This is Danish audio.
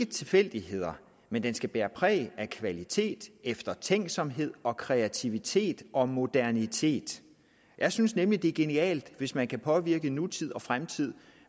tilfældigheder men den skal bære præg af kvalitet eftertænksomhed og kreativitet og modernitet jeg synes nemlig at det er genialt hvis man kan påvirke nutid og fremtid